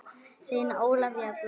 Þín Ólafía Guðrún.